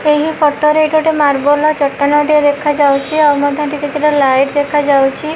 ଏହି ଫଟୋ ରେ ଗୋଟେ ମାର୍ବଲ ର ଚଟାଣ ଟିଏ ଦେଖାଯାଉଛି ଆଉ ମଧ୍ୟ କିଛିଟା ଲାଇଟ୍ ଦେଖା ଯାଉଛି।